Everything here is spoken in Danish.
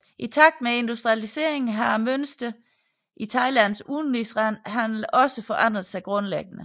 I takt med industrialiseringen har mønsteret i Thailands udenrigshandel også forandret sig grundlæggende